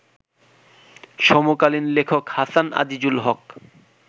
সমকালীন লেখক হাসান আজিজুল হক